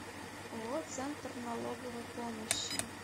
ооо центр налоговой помощи